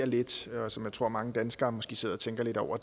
lidt og som jeg tror mange danskere måske sidder og tænker lidt over